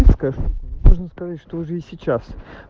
можно сказать что уже сейчас